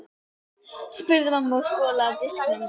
spurði mamma og skolaði af diskunum.